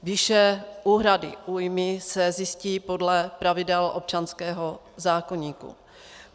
Výše úhrady újmy se zjistí podle pravidel občanského zákoníku.